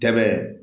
Tɛmɛn